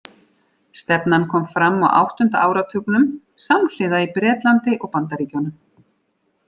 Stefnan kom fram á áttunda áratugnum, samhliða í Bretlandi og Bandaríkjunum.